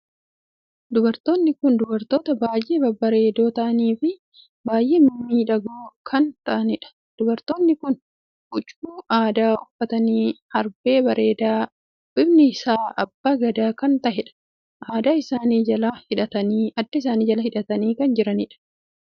Dubartoonni kun dubartoota baay'ee babbareedoo taa'anii Fi baay'ee mimmiidhagoo kan taa'anidha. dubartoonni kun huccuu aadaa uffatanii herbee bareedaa bifni isaa abbaa gadaa kan taheen adda isaanii jala hidhatanii kan jiranidha. dubartonni kun akka ajaa'ibaatti bareedu!